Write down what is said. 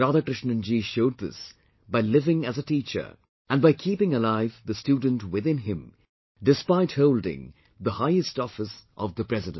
Radhakrishnan ji showed this by living as a teacher and by keeping alive the student within him despite holding the highest office of the President